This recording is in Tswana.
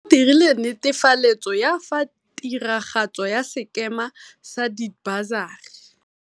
o dirile netefaletso ya fa tiragatso ya sekema sa dibasari.